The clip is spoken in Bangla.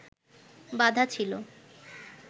বাঁধা ছিল